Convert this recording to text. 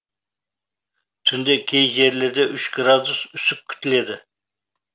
түнде кей жерлерде үш градус үсік күтіледі